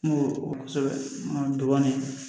dɔ kɔni